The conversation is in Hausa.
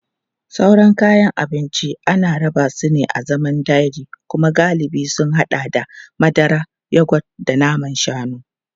Sauran kayan abinci ana rarraba su a zaman dairy kuma galibi sun haɗa da madara, yogurt da man shanu.